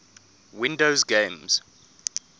windows games